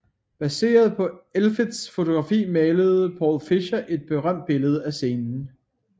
Baseret på Elfelts fotografi malede Paul Fischer et berømte billede af scenen